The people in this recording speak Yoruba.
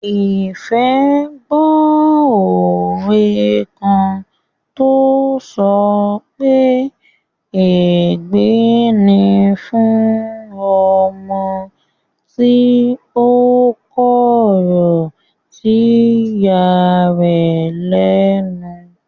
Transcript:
Ìfẹ́ gbó òwe kan tó sọ pé "ègbé ni fún ọmọ tí ó kọ̀rọ̀ sí ìya rẹ̀ lẹ́nu"